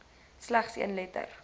slegs een letter